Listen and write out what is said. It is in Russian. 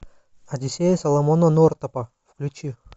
одиссея соломона нортапа включи